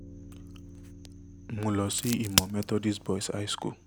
mo lọ sí ìmọ̀ methodist boys high school